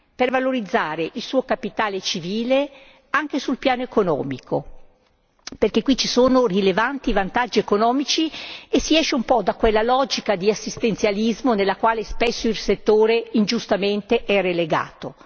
per valorizzare il suo capitale civile anche sul piano economico perché qui ci sono rilevanti vantaggi economici e si esce un po' da quella logica di assistenzialismo nella quale spesso il settore, ingiustamente, è relegato.